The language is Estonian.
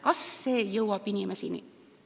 Kas kunagi jõuab ka inimene nii kaugele?